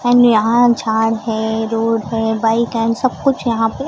and यहां झाड़ है रोड है बाइक एंड सब कुछ यहां पे--